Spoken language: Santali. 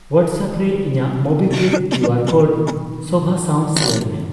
ᱣᱦᱟᱴᱥᱮᱯ ᱨᱮ ᱤᱧᱟᱜ ᱢᱳᱵᱤᱠᱣᱤᱠ ᱠᱤᱭᱩᱟᱨ ᱠᱳᱰ ᱥᱳᱵᱷᱟ ᱥᱟᱣ ᱥᱮᱭᱟᱨ ᱢᱮ ᱾